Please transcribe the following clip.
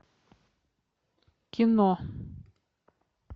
кино